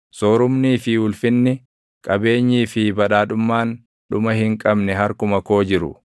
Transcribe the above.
Soorumnii fi ulfinni, qabeenyii fi badhaadhummaan dhuma hin qabne harkuma koo jiru.